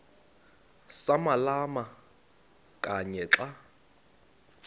samalama kanye xa